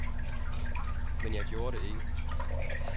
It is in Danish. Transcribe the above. Men jeg gjorde det ikke.